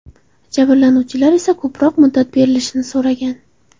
Jabrlanuvchilar esa ko‘proq muddat berilishini so‘ragan.